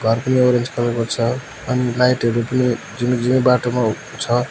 यहाँ पनि एउटा स्थलको छ अनि लाइटहरू पनि झिमिक झिमिक बाटोमा छ।